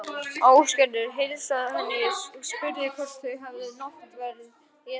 Ásgerður heilsaði henni og spurði hvort þau hefði náttverð etið.